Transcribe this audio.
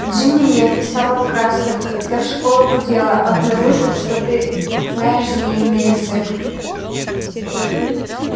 джинни мне описала в красках как вся школа гудела обнаружив что ты знаешь змеиный язык